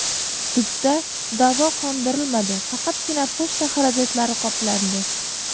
Sudda da’vo qondirilmadi, faqatgina pochta xarajatlari qoplandi.